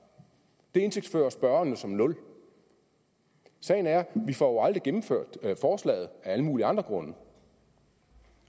det indtægtsfører spørgeren som nul sagen er at vi får gennemført forslaget af alle mulige andre grunde